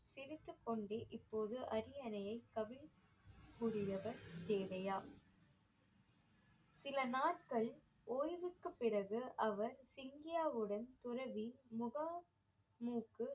சிரித்துக்கொண்டே இப்போது அரியணையை கவிழ்~ புதியவர் தேவையா சில நாட்கள் ஓய்வுக்கு பிறகு அவர் சிங்கியாவுடன் துறவி முகா மூக்கு